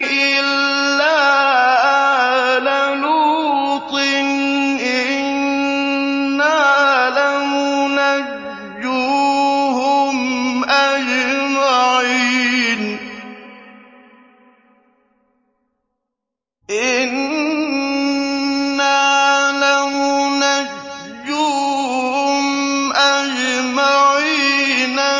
إِلَّا آلَ لُوطٍ إِنَّا لَمُنَجُّوهُمْ أَجْمَعِينَ